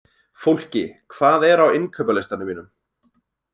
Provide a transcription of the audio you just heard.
Fólki, hvað er á innkaupalistanum mínum?